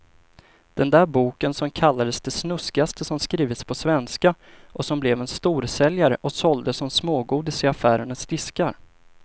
Den där boken som kallades det snuskigaste som skrivits på svenska och som blev en storsäljare och såldes som smågodis i affärernas diskar.